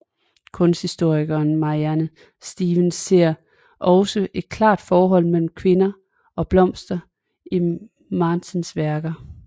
Kunsthistorikeren Maryanne Stevens ser også et klart forhold mellem kvinder og blomster i Manets værker